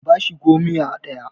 ka bashi gomiya ɗaya!